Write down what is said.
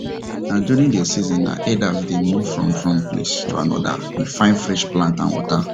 na during dey seasons na herders dey move from from place to another dey fine fresh plants and water